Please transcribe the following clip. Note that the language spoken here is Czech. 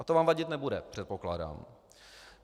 A to vám vadit nebude, předpokládám.